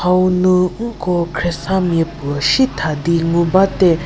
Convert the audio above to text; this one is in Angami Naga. hau nu nko khriesa miapu shietha di ngu bate.